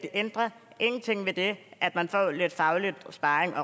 ændrer ved det at man får lidt faglig sparring